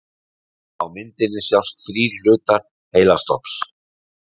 Á myndinni sjást þrír hlutar heilastofns.